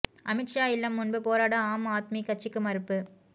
அமித் ஷா இல்லம் முன்பு போராட ஆம் ஆத்மி கட்சிக்கு மறுப்பு